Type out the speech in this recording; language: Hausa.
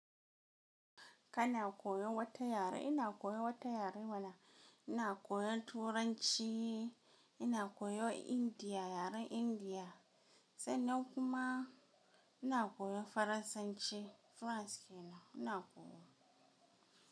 Ka na koyo wata yare, ina koyo wata yare mana ina koyo Turanci, ina koyo Indiya, yaren Indiya sanman kuma ina koyo Faransanci, France kenan ina koyo.